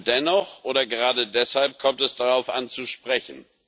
Dennoch oder gerade deshalb kommt es darauf an zu sprechen.